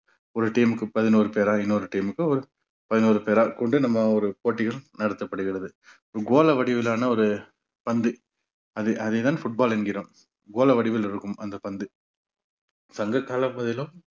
ஒரு team க்கு பதினொரு பேரா இன்னொரு team க்கு ஒரு பதினொரு பேரா கொண்டு நம்ம ஒரு போட்டிகள் நடத்தப்படுகிறது. ஒரு கோள வடிவிலான ஒரு பந்து அது அதே தான் football என்கிறோம். கோள வடிவில் இருக்கும் அந்த பந்து சங்ககாலப் பகுதிலும்